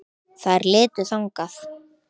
Þær litu þangað.